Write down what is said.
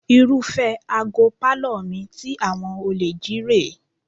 Irúfẹ́ àga pálọ̀ mi tí àwọn olè jí rè é